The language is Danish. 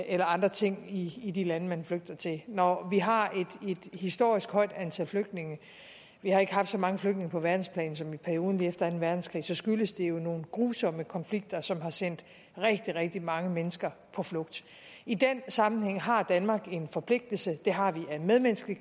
eller andre ting i de lande man flygter til når vi har et historisk højt antal flygtninge vi har ikke haft så mange flygtninge på verdensplan siden perioden efter anden verdenskrig skyldes det jo nogle grusomme konflikter som har sendt rigtig rigtig mange mennesker på flugt i den sammenhæng har danmark en forpligtelse det har vi af medmenneskelige